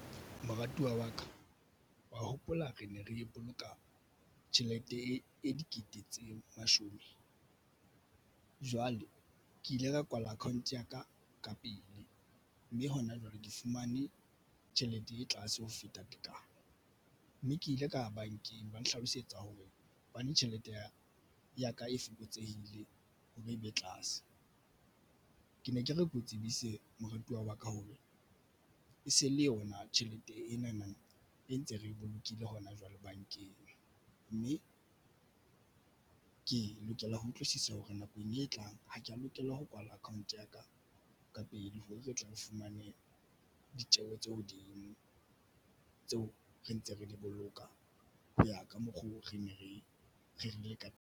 Moratiwa wa ka wa hopola re ne re boloka tjhelete e dikete tse mashome. Jwale ke ile ka kwala account ya ka ka pele, mme hona jwale ke fumane tjhelete e tlase ho feta tekano, mme ke ile ka ya bankeng. Ba nhlalosetsa hore hobane tjhelete ya ka e fokotsehile ha bobebe tlase ke ne ke re keo tsebise moratuwa wa ka hoba e se le yona. Tjhelete ena na e ntse re bolokile hona jwale bankeng mme ke lokela ho utlwisisa hore nakong e tlang ha ke ya lokela ho kwala account ya ka ka pele. Hore re tle re fumane ditjeho tse hodimo tseo re ntse re di boloka Ho ya ka mokgo, re ne re rerile ka teng.